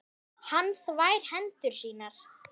Hann þvær hendur sínar.